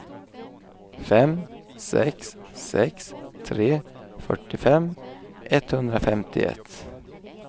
fem sex sex tre fyrtiofem etthundrafemtioett